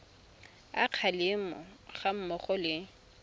a kgalemo ga mmogo le